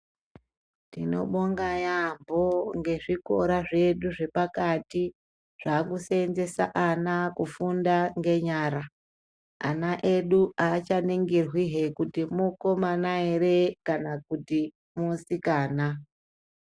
Tinobonga yaamho ngezvikora zvedu zvepakati zvaakuseenzesa ana kufunda ngenyara. Ana edu aachaningirwihe kuti mukomana here kana kuti musikana.